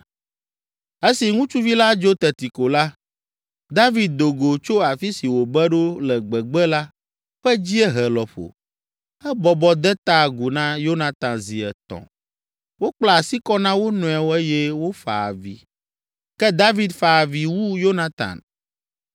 Esi ŋutsuvi la dzo teti ko la, David do go tso afi si wòbe ɖo le gbegbe la ƒe dziehe lɔƒo. Ebɔbɔ de ta agu na Yonatan zi etɔ̃. Wokpla asi kɔ na wo nɔewo eye wofa avi, ke David fa avi wu Yonatan.